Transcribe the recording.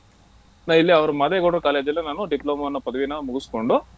ನಾ ಇಲ್ಲೇ ಅವರು ಮಾದೇವಗೌಡ್ರು college ಅಲ್ಲೇ ನಾನು diploma ಅನ್ನೋ ಪದವಿನ ಮುಗಸಕೊಂಡು.